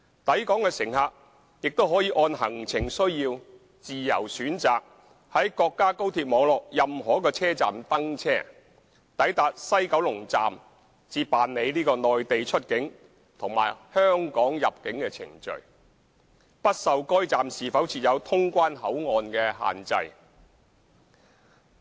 抵港乘客亦可按行程需要自由選擇在國家高鐵網絡任何一個車站登車，抵達西九龍站才辦理內地出境和香港入境程序，不受該站是否設有通關口岸所限制。